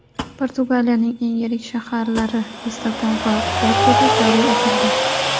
Portugaliyaning eng yirik shaharlari – Lissabon va Portuda joriy etilgan.